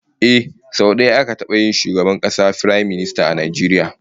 Ehh, sau daya aka taba yin shugaban kasa Firaminista a Najeriya